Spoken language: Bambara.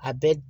A bɛɛ